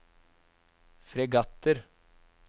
fregatter